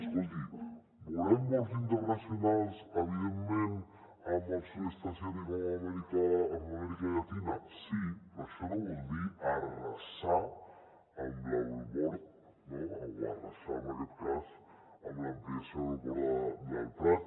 escolti volem vols internacionals evidentment amb el sud est asiàtic o amb amèrica llatina sí però això no vol dir arrasar amb l’aeroport o arrasar en aquest cas amb l’ampliació de l’aeroport del prat